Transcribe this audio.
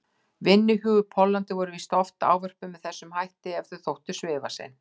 vinnuhjú í Póllandi voru víst ávörpuð með þessum hætti ef þau þóttu svifasein.